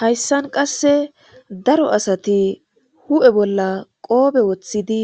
hayssan qasse daro asati hu7e bolla qoobe woththidi